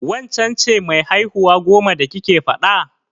Waccen ce mai haihuwa goman da kike faɗa?